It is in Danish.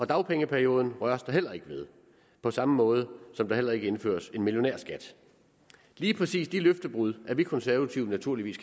dagpengeperioden røres der heller ikke ved på samme måde som der heller ikke indføres en millionærskat lige præcis de løftebrud er vi konservative naturligvis